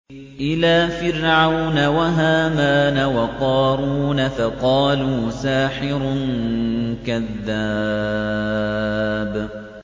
إِلَىٰ فِرْعَوْنَ وَهَامَانَ وَقَارُونَ فَقَالُوا سَاحِرٌ كَذَّابٌ